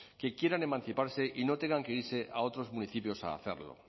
que quieran emanciparse y no tengan que irse a otros municipios a hacerlo